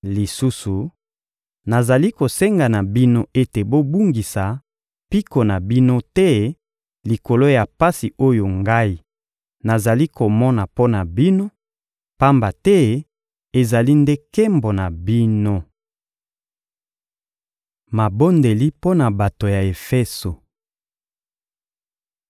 Lisusu, nazali kosenga na bino ete bobungisa mpiko na bino te likolo ya pasi oyo ngai nazali komona mpo na bino, pamba te ezali nde nkembo na bino. Mabondeli mpo na bato ya Efeso